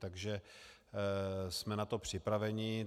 Takže jsme na to připraveni.